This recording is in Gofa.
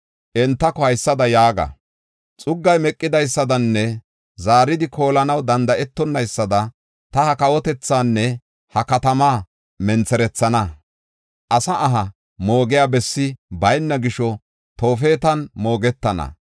Entako haysada yaaga: xuggay meqidaysadanne zaaridi koolanaw danda7etonnaysada ta ha kawotethaanne ha katamaa mentherethana. Asi aha moogiya bessi bayna gisho Toofetan moogetana.